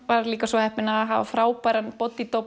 var líka svo heppin að hafa frábæran